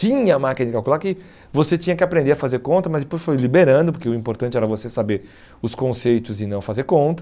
Tinha a máquina de calcular que você tinha que aprender a fazer conta, mas depois foi liberando, porque o importante era você saber os conceitos e não fazer conta.